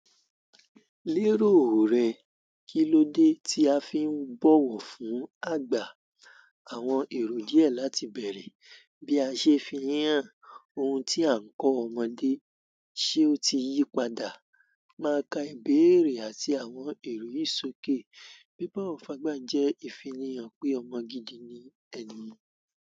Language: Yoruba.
Lérò rẹ, kí ló dé tí a fi ń bọ̀wọ̀ fún àgbà àwọn èrò díẹ̀ láti bẹ̀rẹ̀? Bí a ṣe fi hàn ohun tí à ń kọ́ ọmọdé, ṣe ó ti yípadà máa ka ìbéèrè àti àwọn èrò yì ṣòké? Bí bọ̀wo fagbà jẹ́ ìfìni hàn pé ọmọ gidi ni ẹni.